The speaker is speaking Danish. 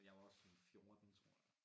Jeg var sådan 14 tror jeg